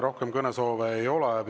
Rohkem kõnesoove ei ole.